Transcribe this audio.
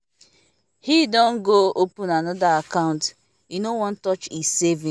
he don go open another account e no wan touch e savings